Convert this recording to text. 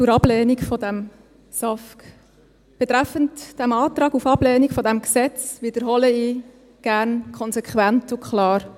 Zur Ablehnung des SAFG: Betreffend den Antrag auf Ablehnung dieses Gesetzes wiederhole ich gerne konsequent und klar: